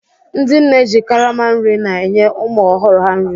Ndị nne ji karama nri na-enye ụmụ ọhụrụ ha nri